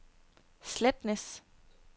Sletnæs